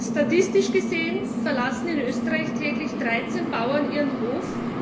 Statistisch gesehen verlassen in Österreich täglich 13 Bauern ihren Hof.